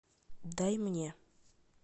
дай мне